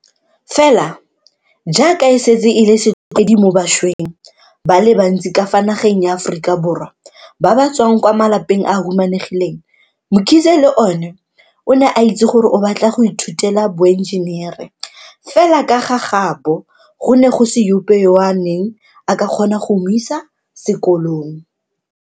Fela jaaka e setse e le setlwaedi mo bašweng ba le bantsi ka fa nageng ya Aforika Borwa ba ba tswang kwa malapeng a a humanegileng, Mkhize le ene o ne a itse gore o batla go ithutela boenjenere, fela ka fa gaabo go ne go se ope yo a neng a ka kgona go mo isa sekolong.